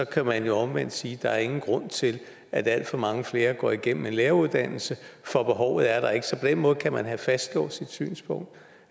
kan man jo omvendt sige at der ikke er nogen grund til at alt for mange flere går igennem en læreruddannelse for behovet er der ikke så på den måde kan man have fastlåst sit synspunkt